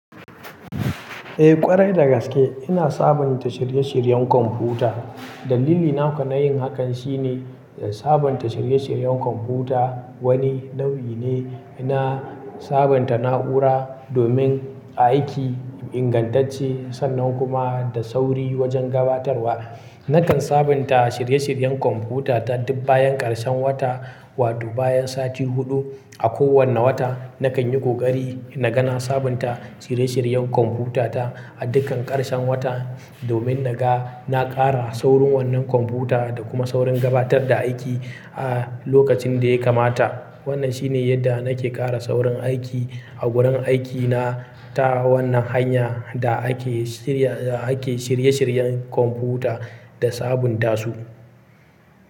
Eh ƙwarai dagaske ina sabonta shirye-shiryen kwamfuta. Dalili naka na yin hakan shine sabonta shirye-shiryen kwamfuta wani nau'i ne na sabonta na'ura domin aiki ingantacce sannan kuma da sauri wajen gabatarwa. Nakan sabonta shirye-shiryen kwamfutata duk bayan ƙarshen wata wato bayan sati huɗu. A kowane wata nakan yi ƙoƙari naga na sabonta shirye-shiryen kwamfutata a dukkan ƙarshen wata domin naga na ƙara saurin wannan kwamfuta da kuma saurin gabatar da aiki a lokacin da ya kamata. Wannan shine yadda nake ƙara saurin aiki a wurin aikina ta wannan hanya da ake shirya, da ake shirye-shiryen kwamfuta da sabonta su.